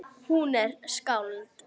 Hún er skáld.